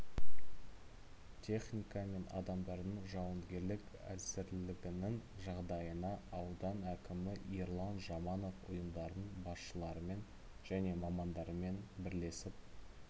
техника мен адамдардың жауынгерлік әзірлігінің жағдайына аудан әкімі ерлан жаманов ұйымдардың басшыларымен және мамандарымен бірлесіп